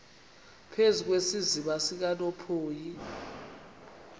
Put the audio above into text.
phezu kwesiziba sikanophoyi